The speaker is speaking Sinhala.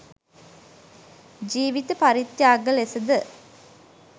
ජීවිත පරිත්‍යාග ලෙස ද